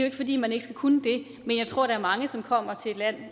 ikke fordi man ikke skal kunne det men jeg tror der er mange som kommer til et land